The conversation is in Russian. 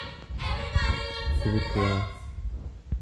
свекла